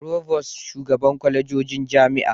Provost shugaban kwalejojin jami'a